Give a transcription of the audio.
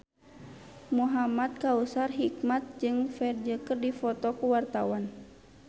Muhamad Kautsar Hikmat jeung Ferdge keur dipoto ku wartawan